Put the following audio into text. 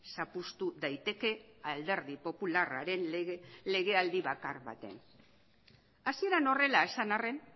zapuztu daiteke alderdi popularraren legealdi bakar batean hasieran horrela esan arren